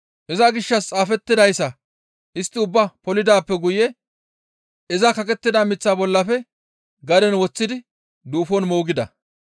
Iza gishshas xaafettidayssa istti ubbaa polidaappe guye iza kaqettida miththaa bollafe gaden woththidi duufon moogida.